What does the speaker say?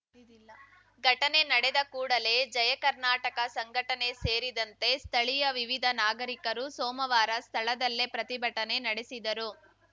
ಘಟನೆ ನಡೆದ ಕೂಡಲೇ ಜಯ ಕರ್ನಾಟಕ ಸಂಘಟನೆ ಸೇರಿದಂತೆ ಸ್ಥಳೀಯ ವಿವಿಧ ನಾಗರಿಕರು ಸೋಮವಾರ ಸ್ಥಳದಲ್ಲೇ ಪ್ರತಿಭಟನೆ ನಡೆಸಿದರು